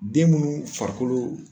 Den munnu farikolo